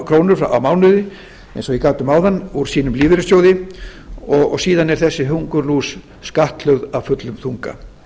krónur á mánuði eins og ég gat um áðan úr sínum lífeyrissjóði og síðan er þessi hungurlús skattlögð af fullum þunga